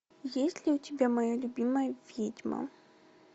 есть ли у тебя моя любимая ведьма